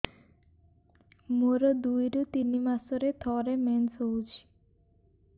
ମୋର ଦୁଇରୁ ତିନି ମାସରେ ଥରେ ମେନ୍ସ ହଉଚି